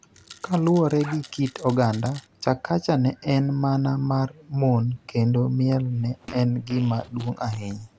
Kaluwore gi kit oganda, Chakacha ne en mana mar mon kendo miel ne en gima duong' ahinya.